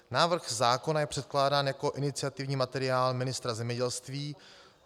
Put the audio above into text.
Návrh zákona je předkládán jako iniciativní materiál ministra zemědělství.